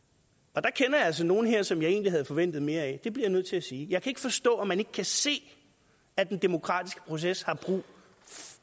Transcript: jeg kender altså nogle her som jeg egentlig havde forventet mere af det bliver jeg nødt til at sige jeg kan ikke forstå at man ikke kan se at den demokratiske proces